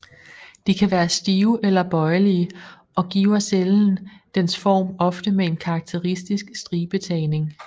De kan være stive eller bøjelige og giver cellen dens form ofte med en karakteristisk stribetagning